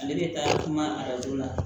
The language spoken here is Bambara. Ale bɛ taa kuma arajo la